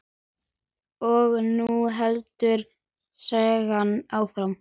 Og nú heldur sagan áfram!